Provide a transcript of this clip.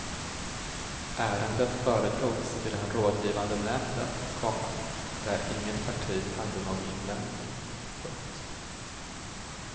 Ärendet föredrogs i den rådgivande nämnden, komma där inget parti hade någon invändning. punkt